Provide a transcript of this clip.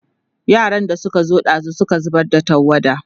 yaran da Suka zo ɗazun Suka zubar da tawada